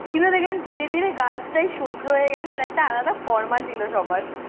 কিভাবে দেখলাম ধীরে ধীরে girls টাই সহ্য হয়ে গেল আর একটা আলাদা ফর্মা ছিল সবার